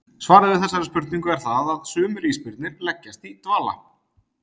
Svarið við þessari spurningu er það að sumir ísbirnir leggjast í dvala.